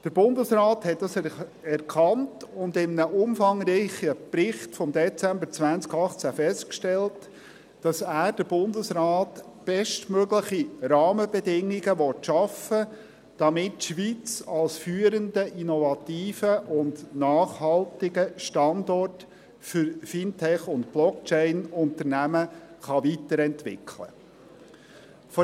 Der Bundesrat hat das erkannt und in einem umfangreichen Bericht vom Dezember 2018 festgestellt, dass er – der Bundesrat – bestmögliche Rahmenbedingungen schaffen will, damit die Schweiz als führender, innovativer und nachhaltiger Standort für Fintech- und Blockchain-Unternehmungen weiterentwickelt werden kann.